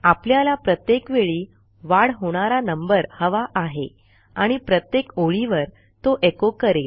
आपल्याला प्रत्येक वेळी वाढ होणारा नंबर हवा आहे आणि प्रत्येक ओळीवर तो एचो करेल